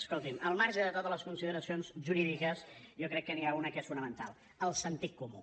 escolti’m al marge de totes les consideracions jurídiques jo crec que n’hi ha una que és fonamental el sentit comú